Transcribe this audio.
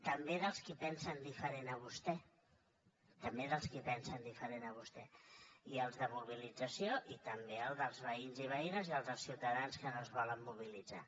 també dels qui pensen diferent a vostè i els de mobilització i també el dels veïns i veïnes i els dels ciutadans que no es volen mobilitzar